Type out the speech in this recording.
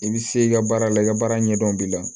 I bi se i ka baara la i ka baara ɲɛdɔn b'i la